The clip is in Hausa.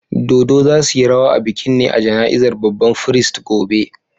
Dodo za' su yi rawa a bikin ne a jana'izar babban firist gobe.